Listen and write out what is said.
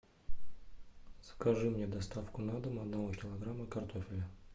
закажи мне доставку на дом одного килограмма картофеля